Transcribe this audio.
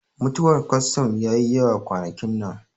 Mutuwar kwatsam yayi yawa kwanakin nan